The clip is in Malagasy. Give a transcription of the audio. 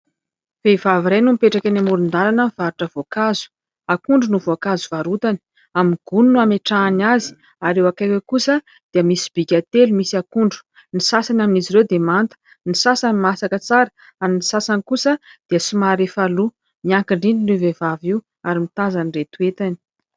Vehivavy iray no mipetraka ny amoron-dalana mivarotra voakazo. Akondro no voankazo varotany amin'ny gony no hametrahany azy, ary eo akakiny eo kosa dia misy sobika telo misy akondro, ny sasany amin'izy ireo dia manta ny sasany masaka tsara ary ny sasany kosa dia misy efa loa. Miakin-drindrina io vehivavy io ary mitazana ireo toe-tany,